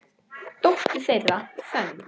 Dóttir þeirra, Fönn